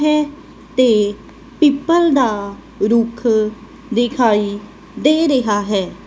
ਹੈ ਤੇ ਪੀਪਲ ਦਾ ਰੁਖ਼ ਦਿਖਾਈ ਦੇ ਰਿਹਾ ਹੈ।